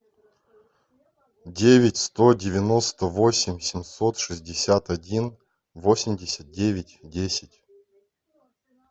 девять сто девяносто восемь семьсот шестьдесят один восемьдесят девять десять